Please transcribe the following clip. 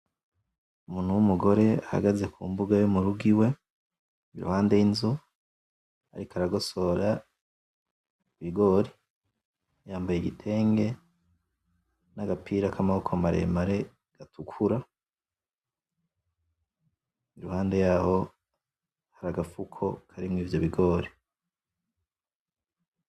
Umuntu w'umugore ahagaze kumbuga yo murugo iwe iruhande y'inzu ariko aragosora ibigori yambaye igitenge n'agapira kamaboko maremare gatukura iruhande yaho hari agafuko karimwo ivyo bigori.